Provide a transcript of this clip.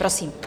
Prosím.